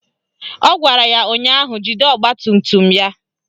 Ọ gwara ya ụnyaahụ "Jide ọgbatumtum ya"!